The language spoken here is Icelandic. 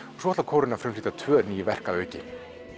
svo ætlar kórinn að frumflytja tvö ný verk að auki